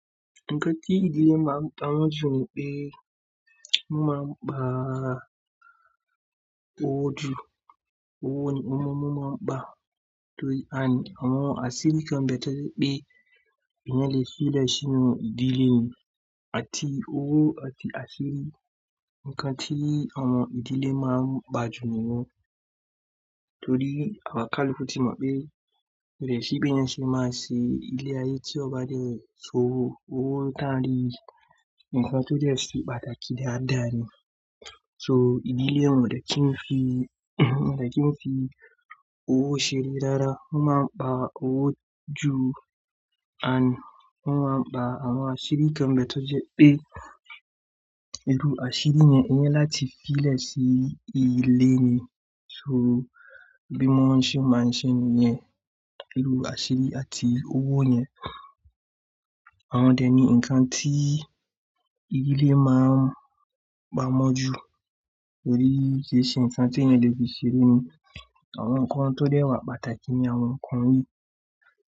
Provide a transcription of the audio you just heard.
Nǹkan tí ìdílé máa ń pa wonju ni pé wọ́n máa ń gba owó ju owó ní wọn máa ń gba and àwọn àṣírí kan gba toje pé ìyàn file sílẹ̀ sí inú ìdílé ni àti owó àti àṣírí. Nǹkan tí àwọn ìdílé máa ń gbájú nìyẹn. Torí kaluku tíì mọ̀ pé ko de si bi èèyàn ṣe máa ṣe ilé ayé tí ó bá dẹ si owó, owo táńrí, ǹkan tó dẹ́ se pàtàkì jẹ́ dàdá ni. So ìdílé wọn ò de ke fi owó ṣeré rara, wọ́n máa ń gba owó ju and wọn máa ń gba àwọn àṣírí kan nbe toje pé iru àṣírí yẹn oni láti fi sí ilé ni. So bí wọ́n ṣe máa ń ṣe nìyẹn, ìlú àṣírí àti owó yẹn. Àwọn dẹ̀ ni ǹkan tí ílé máa ń pa mọ́ ju, torí ki e ṣe ǹkan tí èèyàn lè fi ṣeré ni. Àwọn ǹkan tó de wa pàtàkì ni àwọn ǹkan yii.